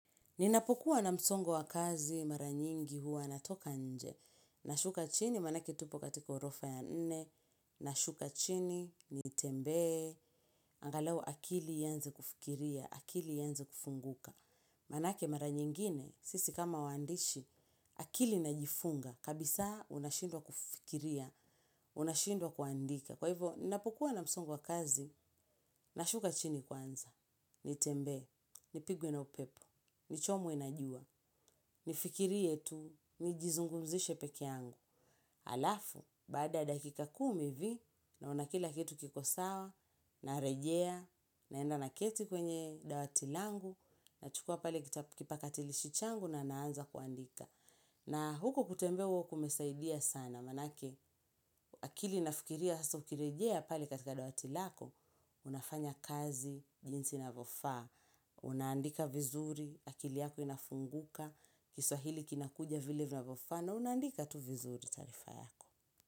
Ninapokuwa na msongo wa kazi mara nyingi huwa natoka nje. Nashuka chini maanake tupo katika ghorofa ya nne. Nashuka chini nitembee. Angaluo akili ianze kufikiria, akili ianze kufunguka. Maanake mara nyingine, sisi kama waandishi, akili inajifunga. Kabisa unashindwa kufikiria, unashindwa kuandika. Kwa hivyo, ninapokuwa na msongo wa kazi, nashuka chini kwanza. Nitembee, nipigwe na upepo, nichomwe na jua, nifikirie tu, nijizungumzishe peke yangu. Alafu, baada ya dakika kumi hivi, naona kila kitu kikosawa, narejea, naenda naketi kwenye dawati langu, nachukua pale kipakatilishi changu na naanza kuandika. Na huko kutembea huwa kumesaidia sana, maanake akili inafikiria, sasa ukirejea pale katika dawati lako, unafanya kazi, jinsi inavyofaa, unaandika vizuri, akili yako inafunguka, kiswahili kinakuja vile vinavyofaa na unaandika tu vizuri taarifa yako.